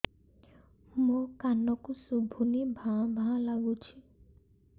ମୋ କାନକୁ ଶୁଭୁନି ଭା ଭା ଲାଗୁଚି